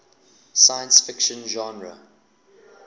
science fiction genre